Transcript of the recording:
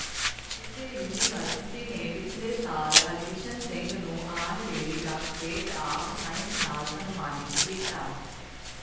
ਇਸੇ ਯੂਨੀਵਰਸਿਟੀ ਨੇ ਪਿਛਲੇ ਸਾਲ ਹਰਕਿਸ਼ਨ ਸਿੰਘ ਨੂੰ ਆਨਰੇਰੀ ਡਾਕਟਰੇਟ ਆਫ ਸਾਇੰਸ ਨਾਲ ਸਨਮਾਨਿਤ ਕੀਤਾ